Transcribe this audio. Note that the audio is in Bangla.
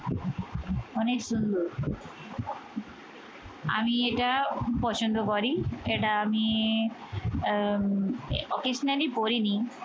অনেক সুন্দর আমি এটা পছন্দ করি এটা আমি occasionally পরিনি